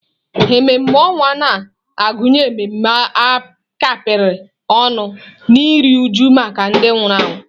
Ememe ọnwụ na-agụnye ememe a kapịrị ọnụ na iru újú maka ndị nwụrụ anwụ.